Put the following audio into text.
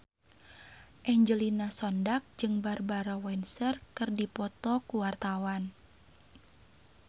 Angelina Sondakh jeung Barbara Windsor keur dipoto ku wartawan